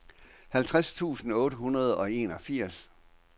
halvtreds tusind otte hundrede og enogfirs